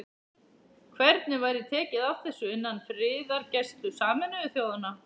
Hvernig væri tekið á þessu innan friðargæslu Sameinuðu þjóðanna?